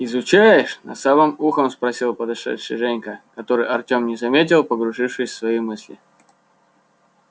изучаешь на самым ухом спросил подошедший женька которого артём не заметил погрузившись в свои мысли